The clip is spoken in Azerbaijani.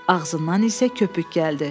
Ağzından isə köpük gəldi.